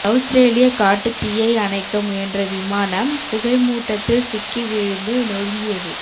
அவுஸ்ரேலிய காட்டுத் தீயை அணைக்க முயன்ற விமானம் புகைமூட்டத்தில் சிக்கி வீழ்ந்து நொருங்கியது